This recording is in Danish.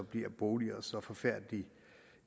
bliver boliger så forfærdelig